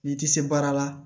N'i ti se baara la